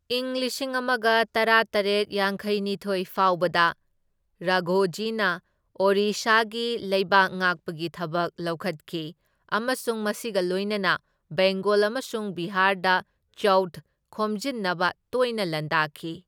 ꯏꯪ ꯂꯤꯁꯤꯡ ꯑꯃꯒ ꯇꯔꯥꯇꯔꯦꯠ ꯌꯥꯡꯈꯩꯅꯤꯊꯣꯢ ꯐꯥꯎꯕꯗ ꯔꯥꯘꯣꯖꯤꯅ ꯑꯣꯔꯤꯁꯥꯒꯤ ꯂꯩꯕꯥꯛ ꯉꯥꯛꯄꯒꯤ ꯊꯕꯛ ꯂꯧꯈꯠꯈꯤ, ꯑꯃꯁꯨꯡ ꯃꯁꯤꯒ ꯂꯣꯏꯅꯅ ꯕꯦꯡꯒꯣꯜ ꯑꯃꯁꯨꯡ ꯕꯤꯍꯥꯔꯗ ꯆꯧꯊ ꯈꯣꯝꯖꯤꯟꯅꯕ ꯇꯣꯏꯅ ꯂꯥꯟꯗꯥꯈꯤ꯫